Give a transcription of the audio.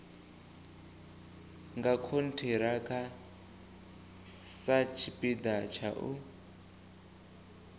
nga khonthiraka satshipida tsha u